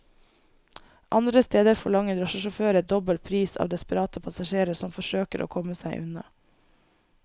Andre steder forlanger drosjesjåfører dobbel pris av desperate passasjerer som forsøker å komme seg unna.